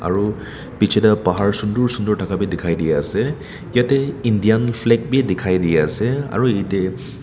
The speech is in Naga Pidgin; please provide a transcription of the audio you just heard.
aru piche de pahar sundur sundur thaka b dikhai di ase yete indian flag b dikhai di ase aru ete--